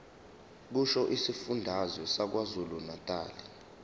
kusho isifundazwe sakwazulunatali